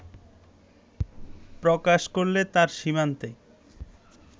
প্রকাশ করলে তার সীমান্তে